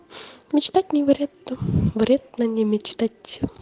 мечтать не вредно вредно не мечтать